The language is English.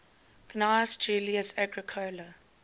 gnaeus julius agricola